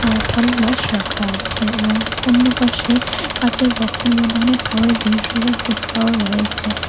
অ্যা রাখা আছে এবং অন্যপাশে কাঁচের বক্সের মধ্যে অনেক খাবারের জিনিস রয়েছে ফুচকাও রয়েছে।